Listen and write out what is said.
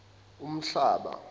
uhlaba